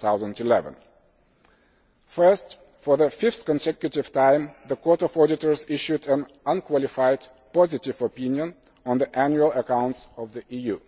2011. Firstly, for the fifth consecutive time, the Court of Auditors has issued an unqualified positive opinion on the annual accounts of the EU.